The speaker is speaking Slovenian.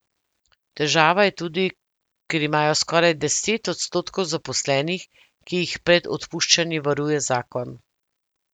Težava je tudi, ker imajo skoraj deset odstotkov zaposlenih, ki jih pred odpuščanji varuje zakon.